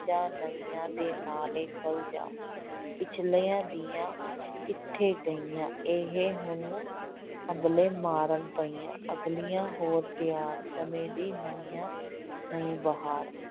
ਜਾਂ ਨਵੀਂਆਂ ਦੇ ਨਾਲ ਖਲ ਜਾ, ਪਿਛਲੀਆਂ ਦੀਆਂ ਕਿੱਥੇ ਗਈਆਂ, ਇਹ ਹੁਣ ਹੰਭਲੇ ਮਾਰਨ ਪਈਆਂ, ਅਗਲੀਆਂ ਹੋਰ ਤਿਆਰ, ਸਮੇਂ ਦੀ ਨਵੀਓਂ ਨਵੀਂ ਬਹਾਰ।